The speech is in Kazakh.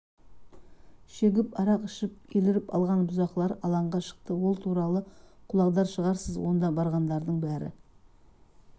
шегіп арақ ішіп еліріп алған бұзақылар алаңға шықты ол туралы құлақдар шығарсыз онда барғандардың бәрі